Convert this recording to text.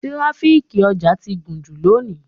Tíráfíkì ọjà ti gùn jù lónìí.